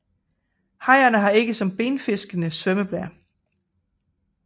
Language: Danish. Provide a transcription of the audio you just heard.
Hajerne har ikke som benfiskene svømmeblære